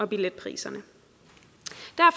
billetpriserne